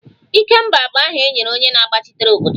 Ikemba bụ aha e nyere onye na-agbachitere obodo